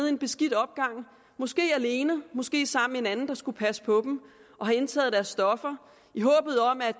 en beskidt opgang måske alene måske sammen med en anden der skulle passe på dem og indtaget deres stoffer